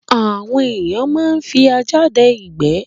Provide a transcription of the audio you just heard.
Àwọn ẹ̀èyàn máa ń fi ajá dẹ ìgbé